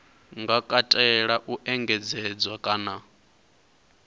nga katela u engedzedzwa kana